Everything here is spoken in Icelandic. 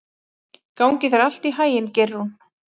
Gangi þér allt í haginn, Geirrún.